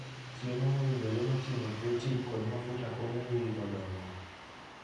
Chiemo mowinjore moting'o protin kod mafuta konyo nyirigo dongo.